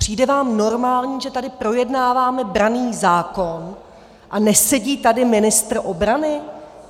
Přijde vám normální, že tady projednáváme branný zákon a nesedí tady ministr obrany?